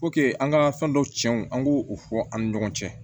an ka fɛn dɔ tiɲɛw an k'o fɔ an ni ɲɔgɔn cɛ